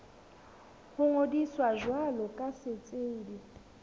ho ngodisa jwalo ka setsebi